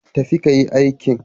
Tafi ka yi aikin.